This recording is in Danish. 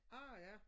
Ah ja